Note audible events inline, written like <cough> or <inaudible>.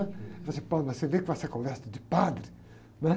Falou assim, <unintelligible> mas você vem que vai ser conversa de padre, né?